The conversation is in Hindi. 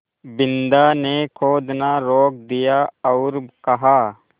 बिन्दा ने खोदना रोक दिया और कहा